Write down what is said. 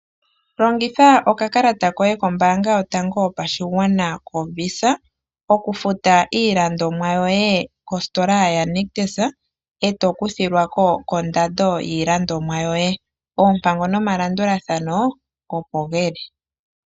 Longitha okakalata koye kombaanga yotango yopashigwana koVisa, okufuta iilandomwa yoye kositola ya Nictus eto kuthilwako kondando yiilandomwa yoye, Oompango no malandulathano opo dhili.